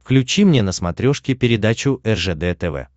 включи мне на смотрешке передачу ржд тв